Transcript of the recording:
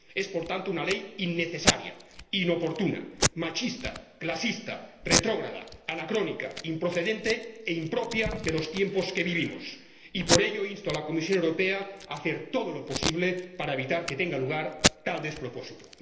Es, por tanto, una ley innecesaria, inoportuna, machista, clasista, retrógrada, anacrónica, improcedente e impropia de los tiempos que vivimos y, por ello, insto a la Comisión Europea a hacer todo lo posible para evitar que tenga lugar tal despropósito.